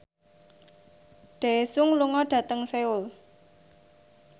Daesung lunga dhateng Seoul